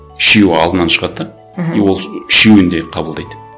үшеуі алдынан шығады да мхм и ол үшеуін де қабылдайды